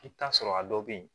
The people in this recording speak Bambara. I bɛ t'a sɔrɔ a dɔw bɛ yen